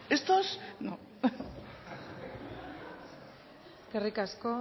estos no eskerrik asko